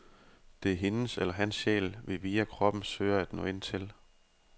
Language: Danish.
Det er hendes eller hans sjæl, vi via kroppen søger at nå ind til.